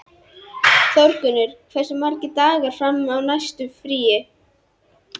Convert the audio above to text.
Þórgunnur, hversu margir dagar fram að næsta fríi?